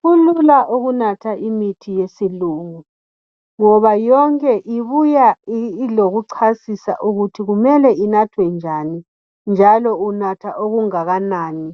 Kulula ukunatha imithi yesilungu ngoba yonke ibuya ilokuchasisa ukuthi kumele inathwe njani njalo unatha okungakanani